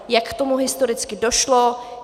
Jak k tomu historicky došlo?